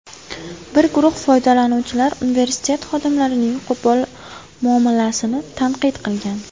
Bir guruh foydalanuvchilar universitet xodimlarining qo‘pol muomalasini tanqid qilgan.